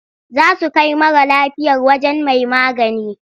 Za su kai mara lafiyar wajen mai magani.